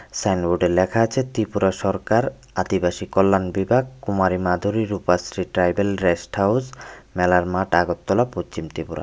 সাইনবোর্ডে লেখা আছে ত্রিপুরা সরকার আদিবাসী কল্যাণ বিভাগ Kumari Madhuri Rupashree tribal rest house মেলার মাঠ আগরতলা পচ্চিম ত্রিপুরা।